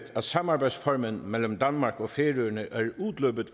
at samarbejdsformen mellem danmark og færøerne